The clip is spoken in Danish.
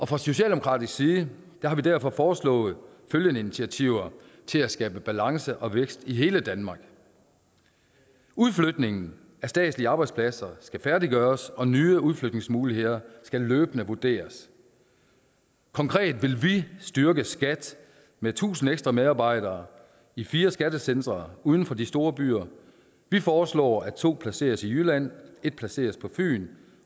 fra socialdemokratisk side har vi derfor foreslået følgende initiativer til at skabe balance og vækst i hele danmark udflytningen af statslige arbejdspladser skal færdiggøres og nye udflytningsmuligheder skal løbende vurderes konkret vil vi styrke skat med tusind ekstra medarbejdere i fire skattecentre uden for de store byer vi foreslår at to placeres i jylland et placeres på fyn